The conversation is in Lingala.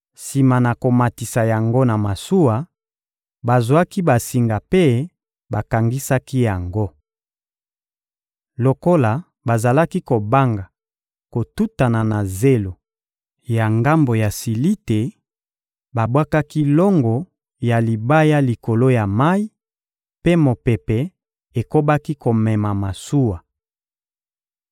Sima na komatisa yango na masuwa, bazwaki basinga mpe bakangisaki yango. Lokola bazalaki kobanga kotutana na zelo ya ngambo ya Silite, babwakaki longo ya libaya likolo ya mayi, mpe mopepe ekobaki komema masuwa.